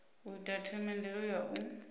u ita themendelo ya u